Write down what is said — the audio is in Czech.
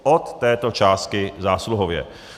Od této částky zásluhově.